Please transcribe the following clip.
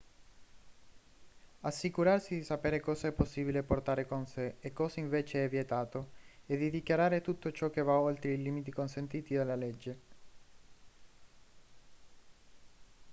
assicurarsi di sapere cosa è possibile portare con sé e cosa invece è vietato e di dichiarare tutto ciò che va oltre i limiti consentiti dalla legge